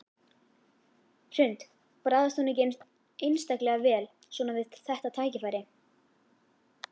Hrund: Bragðast hún ekki einstaklega vel svona við þetta tækifæri?